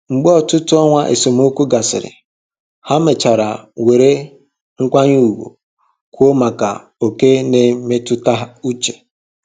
Mgbe ọtụtụ ọnwa esemokwu gasịrị, ha mechara were nkwanye ùgwù kwuo maka oke na mmetụta uche